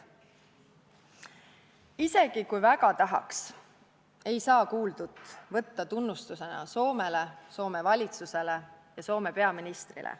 " Isegi kui väga tahaks, ei saaks kuuldut võtta tunnustusena Soomele, Soome valitsusele ja Soome peaministrile.